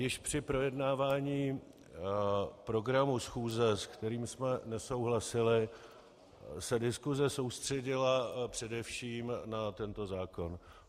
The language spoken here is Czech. Již při projednávání programu schůze, s kterým jsme nesouhlasili, se diskuse soustředila především na tento zákon.